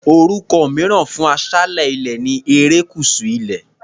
Orúkọ mìíràn fún aṣálẹ̀ ilẹ̀ ni erékùṣù ilẹ̀.